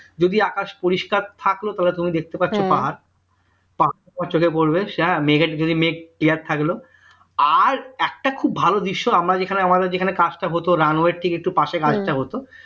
যদি আকাশ পরিষ্কার থাকলো তবে তুমি দেখতে পাচ্ছো পাহাড় পাহাড় চোখে পড়বে যদি মেঘ clear থাকলো আর একটা খুব ভালো দৃশ্য আমরা যেখানে আমাদের যেখানে কাজটা হত runway ঠিক একটু পাশে কাজটা হতো